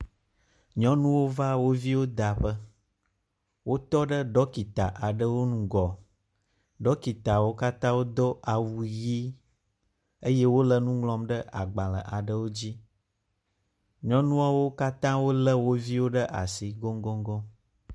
Nyɔnuwo va wo viwo da ƒe. wotɔ ɖe dɔkita aɖewo ŋgɔ. Dɔkitawo katã do awu ʋi eye wo le nu ŋlɔm ɖe agbale aɖewo dzi. Nyɔnuawo katã wo le wo viwo ɖe asi goŋgoŋgoŋ.